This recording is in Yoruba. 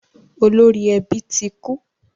Olori ẹbí tí kú